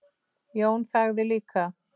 Jón þagði líka.